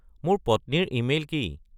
মোৰ পত্নীৰ ইমেইল কি